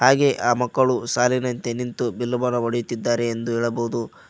ಹಾಗೆ ಆ ಮಕ್ಕಳು ಸಾಲಿನಂತೆ ನಿಂತು ಬಿಲ್ಲು ಬಾಣವನ್ನು ಹೊಡೆಯುತ್ತಿದ್ದಾರೆ ಎಂದು ಹೇಳಬಹುದು.